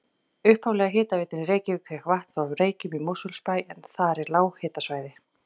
Upphaflega hitaveitan í Reykjavík fékk vatn frá Reykjum í Mosfellsbæ en þar er lághitasvæði.